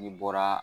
N'i bɔra